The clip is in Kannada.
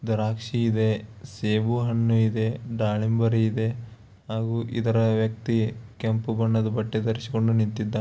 ದ್ರಾಕ್ಷಿಇದೆ ಸೇಬುಹಣ್ಣು ಇದೆ ದಾಳಿಂಬೆ ಹಣ್ಣು ಹಾಗೂ ಇದರ ವ್ಯಕ್ತಿ ಕೆಂಪು ಬಣ್ಣದ ಬಟ್ಟೆ ಧರಿಸಿಕೊಂಡು ನಿಂತಿದ್ದಾನೆ.